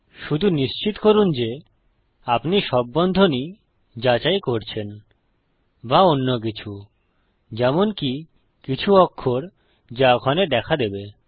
শুধু নিশ্চিত করুন যে আপনি সব বন্ধনী যাচাই করছেন বা অন্যকিছু যেমনকি কিছু অক্ষর যা ওখানে দেখা দেবে